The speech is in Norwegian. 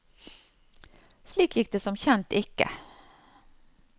Slik gikk det som kjent ikke.